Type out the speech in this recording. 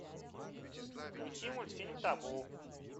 включи мультфильм табу